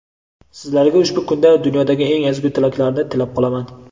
Sizlarga ushbu kunda dunyodagi eng ezgu tilaklarni tilab qolaman.